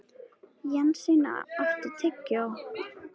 Jensína, áttu tyggjó?